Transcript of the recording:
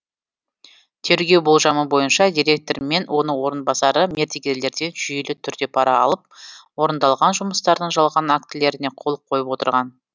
тергеу болжамы бойынша директор мен оның орынбасары мердігерлерден жүйелі түрде пара алып орындалған жұмыстардың жалған актілеріне қол қойып отырған